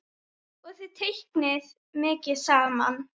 Og þið teiknið mikið saman?